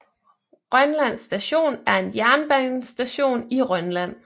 Rønland Station er en jernbanestation i Rønland